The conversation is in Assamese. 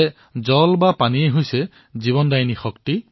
আপো হিষ্ঠা ময়ো ভুৱঃ স্থা ন উৰ্জে দধাতন মহে ৰণায় চক্ষসে